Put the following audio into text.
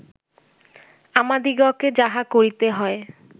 আমাদিগকে যাহা করিতে হয়